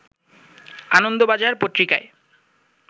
আনন্দবাজার পত্রিকায়